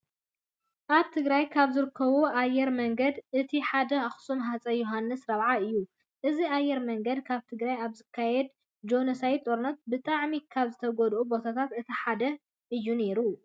ኣብ ትግራይ ካብ ዝርከቡ ኣየር መንገድታት እቲ ሓደ ኣክሱም ሃፀይ ዮውሃንስ 4ይ እዩ። እዚ ኣየር መንገዲ ኣብ ትግራይ ኣብ ዝተኻየደ ጆኖሶይዳዊ ጦርነት ብጣዕሚ ካብ ዝተጎድዩ ቦታታት እቲ ሓደ እዩ ነይሩ።